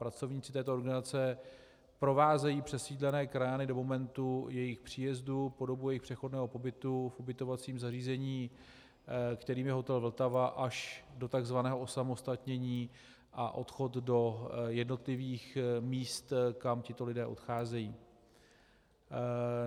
Pracovníci této organizace provázejí přesídlené krajany do momentu jejich příjezdu, po dobu jejich přechodného pobytu v ubytovacím zařízení, kterým je hotel Vltava, až do takzvaného osamostatnění a odchod do jednotlivých míst, kam tito lidé odcházejí.